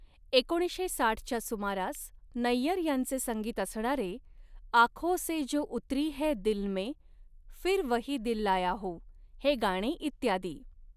एकोणीसशे साठच्या सुमारास नय्यर यांचे संगीत असणारे 'आखोसे जो उतरी है दिलमे, फिर वही दिल लाया हूॅं' हे गाणे इत्यादी.